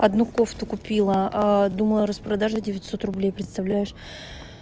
одну кофту купила думала распродажа девятьсот рублей представляешь